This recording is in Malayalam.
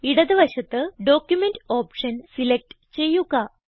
ഇടത് വശത്ത് ഡോക്യുമെന്റ് ഓപ്ഷൻ സിലക്റ്റ് ചെയ്യുക